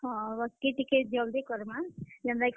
ହଁ, ବାକି ଟିକେ ଜଲ୍ ଦି କର୍ ମା ଯେନ୍ ତା କି।